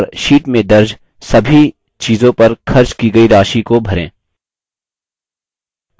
और sheet में दर्ज सभी चीज़ों पर खर्च की गयी राशि को भरें